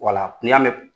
Wala n'i y'a mɛn